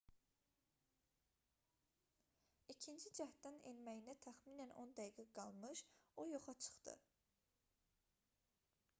i̇kinci cəhddən enməyinə təxminən 10 dəqiqə qalmış o yoxa çıxdı